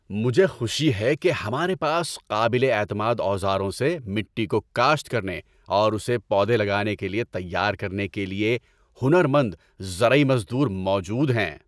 مجھے خوشی ہے کہ ہمارے پاس قابل اعتماد اوزاروں سے مٹی کو کاشت کرنے اور اسے پودے لگانے کے لیے تیار کرنے کے لیے ہنر مند زرعی مزدور موجود ہیں۔